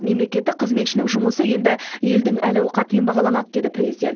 мемлекеттік қызметшінің жұмысы енді елдің әл ауқатымен бағаланады деді президент